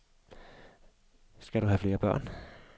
Skal du have flere børn?